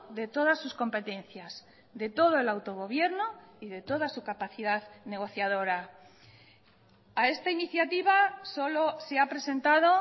de todas sus competencias de todo el autogobierno y de toda su capacidad negociadora a esta iniciativa solo se ha presentado